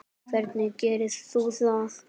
Hvernig gerir þú það?